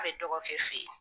A be dɔgɔ kɛ fe yen.